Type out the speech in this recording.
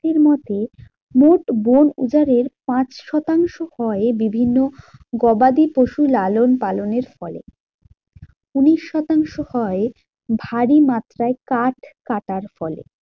এর মতে মোট বোন উজাড়ের পাঁচ শতাংশ হয় বিভিন্ন গবাদি পশু লালন পালনের ফলে। উনিশ শতাংশ হয় ভারী মাত্রায় কাঠ কাটার ফলে।